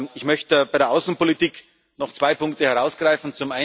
Ich möchte bei der Außenpolitik noch zwei Punkte herausgreifen.